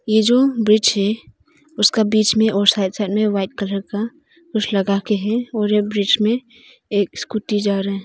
ऐ जो ब्रिज है उसका बीच में और साइड साइड में वाइट कलर का कुछ लगा के हैं और यह ब्रिज में एक स्कूटी जा रहा--